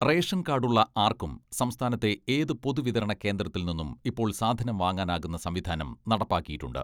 റേഷൻകാഡുളള ആർക്കും സംസ്ഥാനത്തെ ഏത് പൊതുവിതരണകേന്ദ്രത്തിൽ നിന്നും ഇപ്പോൾ സാധനം വാങ്ങാനാകുന്ന സംവിധാനം നടപ്പാക്കിയിട്ടുണ്ട്.